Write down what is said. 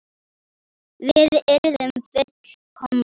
Við yrðum full- komnir.